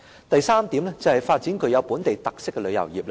主席，第三是發展具本地特色的旅遊業。